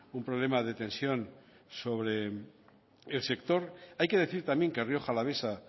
un problema de tensión sobre el sector hay que decir también que rioja alavesa